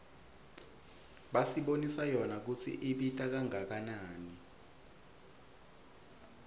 basibonisa yona kutsi ibita kangakanani